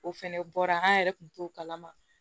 O fɛnɛ bɔra an yɛrɛ kun t'o kalama